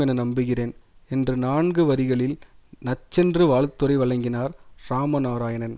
என நம்புகிறேன் என்று நான்கு வரிகளில் நச்சென்று வாழ்த்துரை வழங்கினார் இராமநாராயணன்